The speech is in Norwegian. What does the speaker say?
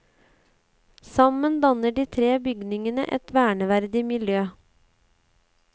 Sammen danner de tre bygningene et verneverdig miljø.